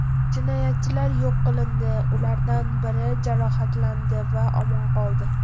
Jinoyatchilar yo‘q qilindi, ulardan biri jarohatlandi va omon qoldi.